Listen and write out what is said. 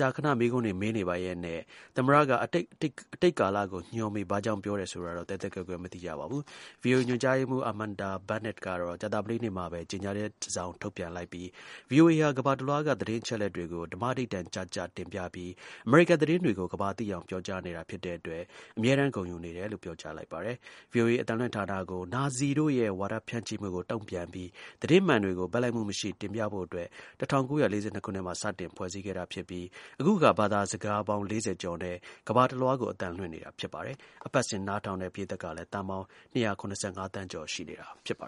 ကြာခဏ မေးခွန်းတွေ မေးနေပါရက်နဲ့ သမ္မတက အတိတ်ကာလကို ညွှန်းပြီး ရှိခဲ့တယ်လို့ ဘာကြောင့် ပြောတယ် ဆိုတာတော့ သဲသဲကွဲကွဲ မသိရပါဘူး။ VOA ညွှန်ကြားရေးမှူး Amanda Bennett ကတော့ ကြာသပတေးနေ့မှာပဲ ကြေညာချက် တစောင် ထုတ်ပြန်လိုက်ပြီး VOA ဟာ ကမ္ဘာတလွှားက သတင်းအချက်အလက်တွေကို ဓမ္မဓိဋ္ဌာန် ကျကျ တင်ပြပြီး အမေရိကန်သတင်းတွေကို ကမ္ဘာသိအောင် ပြောကြားနေတာ ဖြစ်တဲ့အတွက် အမြဲတမ်း ဂုဏ်ယူနေတယ်လို့ ပြောကြားလိုက်ပါတယ်။ VOA အသံလွှင့်ဌာနကို နာဇီတို့ရဲ့ ဝါဒဖြန့်မှုကို တုံ့ပြန်ပြီး သတင်းမှန်တွေကို ဘက်လိုက်မှုမရှိ တင်ပြဖို့အတွက် ၁၉၄၂ ခုနှစ်မှာ စတင်ဖွဲ့စည်း ခဲ့တာ ဖြစ်ပြီး အခုအခါ ဘာသာစကားပေါင်း ၄၀ ကျော်နဲ့ ကမ္ဘာတလွှားကို အသံလွှင့်နေတာ ဖြစ်ပါတယ်။ အပတ်စဉ် နားထောင်တဲ့ ပရိတ်သတ် ကလည်း သန်းပေါင်း ၂၇၅ သန်းကျော် ရှိနေတာပါ